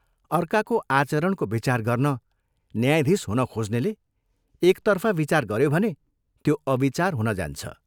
अर्काको आचरणको विचार गर्न न्यायाधीश हुन खोज्नेले एकतर्फा विचार गऱ्यो भने त्यो अविचार हुन जान्छ।